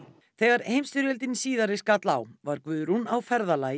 þegar heimsstyrjöldin síðari skall á var Guðrún á ferðalagi í